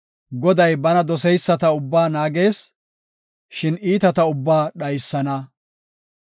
Goday bana doseyisata ubbaa naagees; shin iitata ubbaa dhaysana.